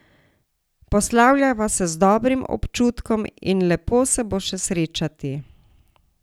Poslavljava se z dobrim občutkom in lepo se bo še srečati.